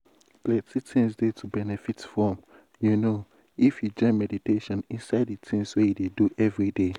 plenty things dey to benefit from you know if you join meditation inside de tins wey you dey do everyday.